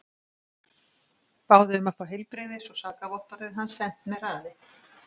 Báðu um að fá heilbrigðis og sakavottorðið hans sent með hraði.